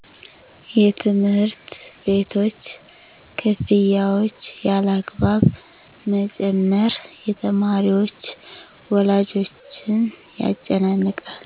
የትምህርት ቤቶች ክፍያዎች ያለአግባብ መጨመር